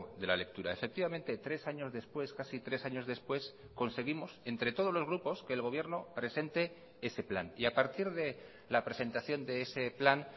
de la lectura efectivamente tres años después casi tres años después conseguimos entre todos los grupos que el gobierno presente ese plan y a partir de la presentación de ese plan